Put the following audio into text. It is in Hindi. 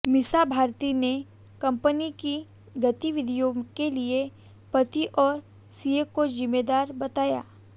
मीसा भारती ने कंपनी की गतिविधियों के लिए पति और सीए को जिम्मेदार बताया